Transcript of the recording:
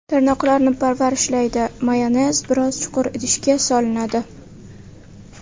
Tirnoqlarni parvarishlaydi Mayonez biroz chuqur idishga solinadi.